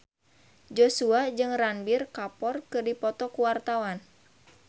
Joshua jeung Ranbir Kapoor keur dipoto ku wartawan